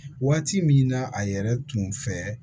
Waati min na a yɛrɛ tun fɛ